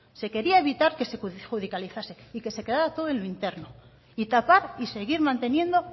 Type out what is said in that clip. se quería evitar que se judicializase y que se quedara todo en lo interno y tapar y seguir manteniendo